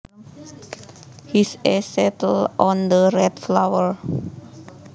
His eyes settled on the red flower